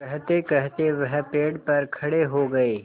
कहतेकहते वह पेड़ पर खड़े हो गए